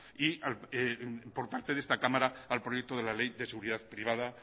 y por parte de esta cámara al proyecto de la ley de seguridad privada